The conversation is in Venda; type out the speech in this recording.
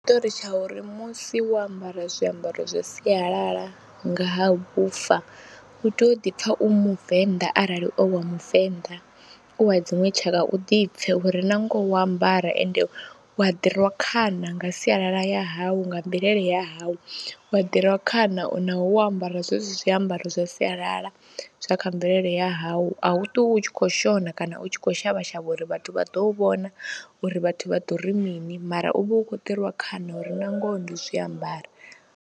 Ndi na tshiṱori tsha uri musi wo ambara zwiambaro zwa sialala nga ha vhufa u tea u ḓi pfha u muvenḓa arali u wa muvenḓa, u wa dziṅwe tshaka u ḓi pfhe uri na ngoho wo ambara ende u wa ḓi rwa khana nga sialala ya hau, nga mvelele ya hawu, wa ḓi rwa khana naho wo ambara zwezwi zwiambaro zwa sialala zwa kha mvelele ya hawu au ṱwi u tshi khou shona kana u tshi khou shavha shavha uri vhathu vha ḓo u vhona, uri vhathu vha ḓo ri mini mara u vha u khou ḓirwa khana uri na ngoho ndo zwi ambara.